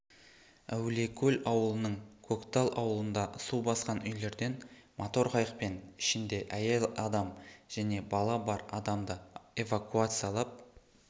әулиекөл ауылының көктал ауылында су басқан үйлерден мотор қайықпен ішінде әйел адам және бала бар адамды эвакуациялап